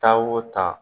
Taa o taa